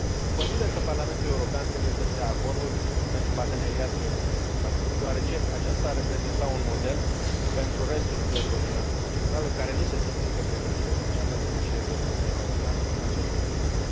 Consider că Parlamentul European trebuie să și dea acordul pentru parteneriatul economic cu Camerun, deoarece aceasta ar reprezenta un model pentru restul țărilor din Africa Centrală, care nu se simt încă pregătite să înceapă negocierilor cu Uniunea Europeană în această direcție.